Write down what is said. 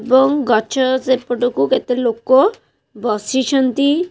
ଏବଂ ଗଛ ସେପଟକୁ କେତେ ଲୋକ ବସିଛନ୍ତି।